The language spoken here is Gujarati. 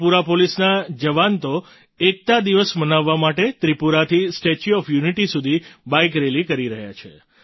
ત્રિપુરા પોલીસના જવાન તો એકતા દિવસ મનાવવા માટે ત્રિપુરાથી સ્ટેચ્યૂ ઑફ યૂનિટી સુધી બાઇક રેલી કરી રહ્યા છે